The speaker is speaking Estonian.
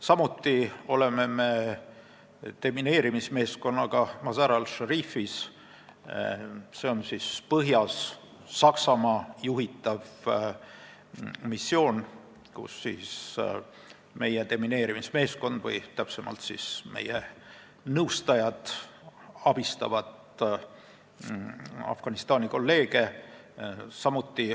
Samuti on meie demineerimismeeskond põhjas asuvas Mazar-e Sharifis, kus missiooni juhib Saksamaa ja meie nõustajad abistavad Afganistani kolleege.